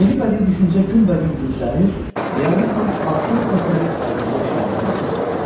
Yeni bədii düşüncə günbəgün güclənir, realizmin addım səsləri aydınca eşidilməyə başlayırdı.